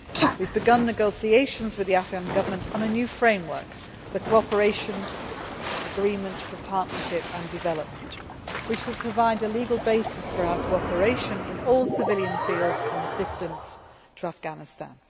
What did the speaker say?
We have begun negotiations with the Afghan Government on a new framework the Cooperation Agreement for Partnership and Development which will provide a legal basis for our cooperation in all civilian fields and assistance to Afghanistan.